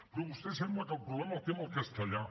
però vostè sembla que el problema el té amb el castellà